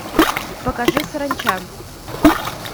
покажи саранча